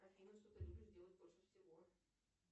афина что ты любишь делать больше всего